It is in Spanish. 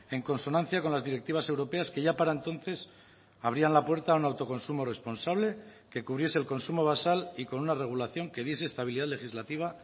en consonancia con las directivas europeas que ya para entonces abrían la puerta a un autoconsumo responsable que cubriese el consumo basal y con una regulación que diese estabilidad legislativa